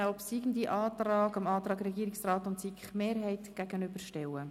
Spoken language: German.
Der obsiegende Antrag wird dem Antrag der SiK-Mehrheit und des Regierungsrats gegenübergestellt.